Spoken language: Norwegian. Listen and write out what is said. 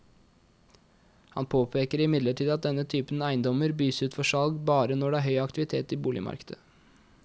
Han påpeker imidlertid at denne typen eiendommer bys ut for salg bare når det er høy aktivitet i boligmarkedet.